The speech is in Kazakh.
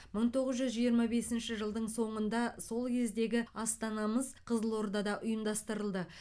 мың тоғыз жүз жиырма бесінші жылдың соңында сол кездегі астанамыз қызылордада ұйымдастырылды